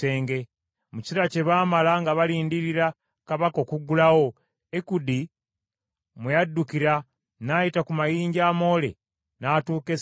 Mu kiseera kye baamala nga balindirira kabaka okuggulawo Ekudi mwe yaddukira n’ayita ku mayinja amoole n’atuuka e Seyiri.